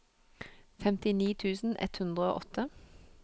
femtini tusen ett hundre og åtte